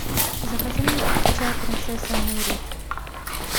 закажи мне чай принцесса нури